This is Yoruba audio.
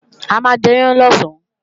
A máa jẹyán lọ̀sán